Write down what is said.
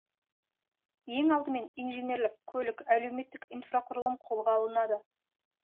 ең алдымен инженерлік көлік әлеуметтік инфрақұрылым қолға алынады